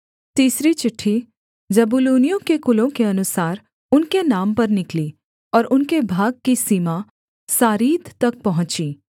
तीसरी चिट्ठी जबूलूनियों के कुलों के अनुसार उनके नाम पर निकली और उनके भाग की सीमा सारीद तक पहुँची